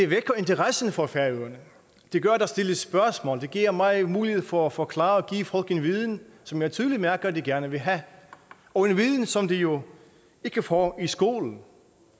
vækker interessen for færøerne det gør at der stilles spørgsmål og det giver mig en mulighed for at forklare og give folk en viden som jeg tydeligt mærker at de gerne vil have og en viden som de jo ikke får i skolen